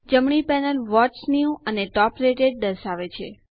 જમણી panel what's new અને top rated દર્શાવે છે